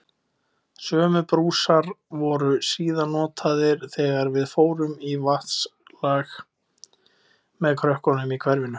Sömu brúsar voru síðan notaðir þegar við fórum í vatnsslag með krökkunum í hverfinu.